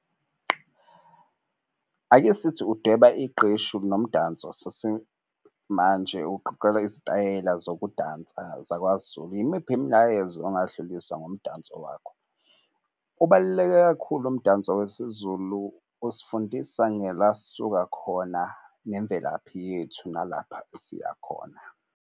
Ake sithi udweba iqeshu nomdanso sesimanje izitayela zokudansa Zakwazulu. Yimiphi imilayezo ongadlulisa ngomdanso wakho? Ukubaluleke kakhulu umdanso wesiZulu usifundisa ngela sisuka khona nemvelaphi yethu, nalapha esiya khona.